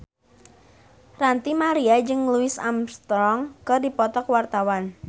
Ranty Maria jeung Louis Armstrong keur dipoto ku wartawan